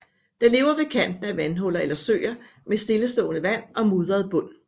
Den lever ved kanten af vandhuller eller søer med stillestående vand og mudret bund